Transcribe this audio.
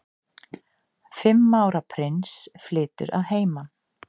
Fimm ára prins flytur að heiman